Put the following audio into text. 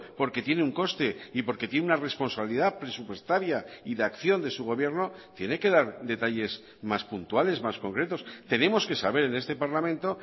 porque tiene un coste y porque tiene una responsabilidad presupuestaria y de acción de su gobierno tiene que dar detalles más puntuales más concretos tenemos que saber en este parlamento